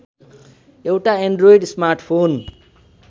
एउटा android smartphone